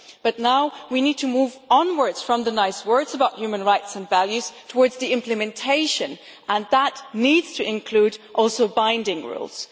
But now we need to move onwards from the nice words about human rights and values towards the implementation, and that needs to include also binding rules.